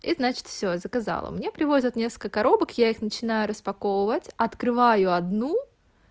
и значит всё заказала мне привозят несколько коробок я их начинаю распаковывать открываю одну